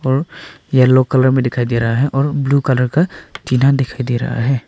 और yellow colour में दिखाई दे रहा है और ब्लू कलर का टीना दिखाई दे रहा है।